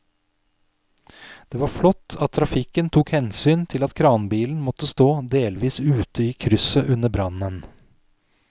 Det var flott at trafikken tok hensyn til at kranbilen måtte stå delvis ute i krysset under brannen.